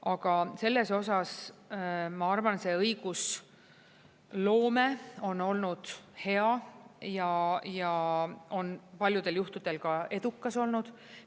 Aga selles osas, ma arvan, see õigusloome on olnud hea ja on paljudel juhtudel ka edukas olnud.